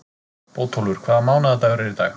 Bótólfur, hvaða mánaðardagur er í dag?